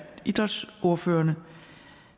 idrætsordførerne